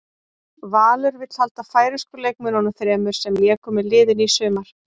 Valur vill halda færeysku leikmönnunum þremur sem léku með liðinu í sumar.